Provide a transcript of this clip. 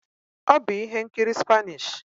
Ọ bụ ihe nkiri Spanish